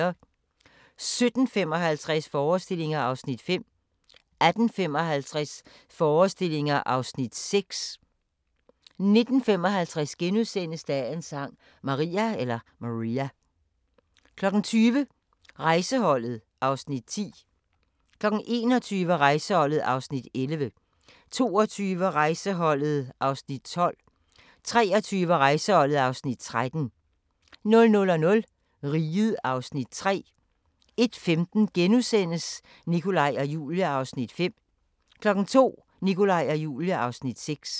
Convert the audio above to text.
17:55: Forestillinger (Afs. 5) 18:55: Forestillinger (Afs. 6) 19:55: Dagens Sang: Maria * 20:00: Rejseholdet (Afs. 10) 21:00: Rejseholdet (Afs. 11) 22:00: Rejseholdet (Afs. 12) 23:00: Rejseholdet (Afs. 13) 00:00: Riget (Afs. 3) 01:15: Nikolaj og Julie (Afs. 5)* 02:00: Nikolaj og Julie (Afs. 6)